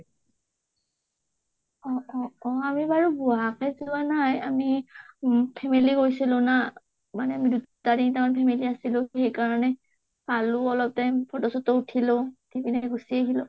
অ অ অ আমি বাৰু নাই আমি উম্ family গৈছিলো না মানে তাৰে আছিলো | সেইকাৰণে, খালো অলপ time photo ছটো উঠিলো ,উঠি পিনে গুচি আহিলা।